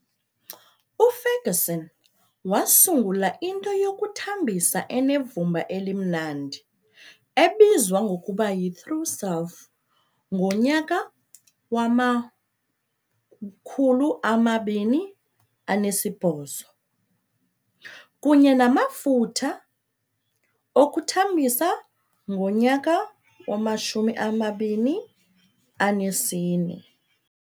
UFerguson wasungula into yokuthambisa enevumba elimnandi ebizwa ngokuba yi-True Self ngo-2008, kunye namafutha okuthambisa ngo-2014.